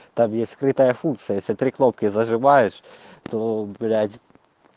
там скрытая функция если три кнопки зажимаешь то блять